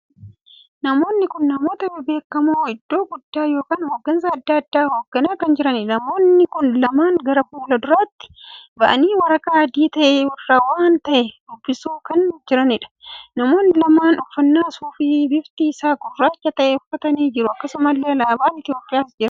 Namoonni kun namoota bebbeekamoo iddoo guddaa ykn hoggansa addaa addaa hogganaa kan jiraniidha. namoonni kun lamaan gara fuula duratti ba'aanii waraqaa adii tahee irraa waan tahee dubbisuu kan jiraniidha. namoonni lamaan uffannaa suufii bifti isaa gurraachaa tahee uffatanii jiru. akkasumalle alaabaan Itoophiyaas jira.